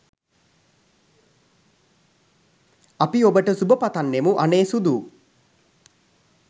අපි ඔබට සුබ පතන්නෙමු අනේ සුදූ.